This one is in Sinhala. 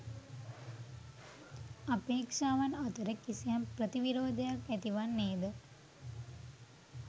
අපේක්‍ෂාවන් අතර කිසියම් ප්‍රතිවිරෝධයක් ඇතිවන්නේ ද